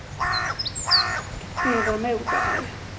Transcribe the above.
Eva Moberg